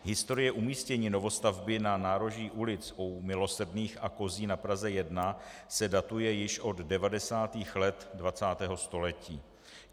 Historie umístění novostavby na nároží ulic U Milosrdných a Kozí na Praze 1 se datuje již od 90. let 20. století.